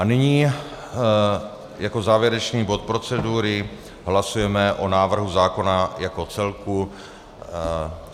A nyní jako závěrečný bod procedury - hlasujeme o návrhu zákona jako celku.